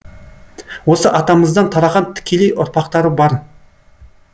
осы атамыздан тараған тікелей ұрпақтары бар